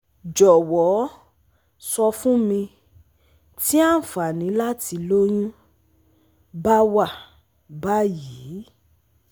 jowo so fun mi ti anfani lati loyun bawa bayii?